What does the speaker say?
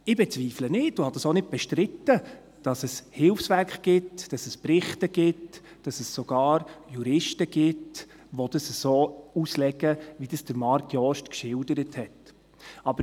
Ich bezweifle nicht, und habe es auch nicht bestritten, dass es Hilfswerke gibt, dass es Berichte gibt, dass es sogar Juristen gibt, welche dies so auslegen, wie es Marc Jost geschildert hat.